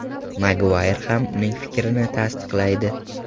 Maguayr ham uning fikrini tasdiqlaydi.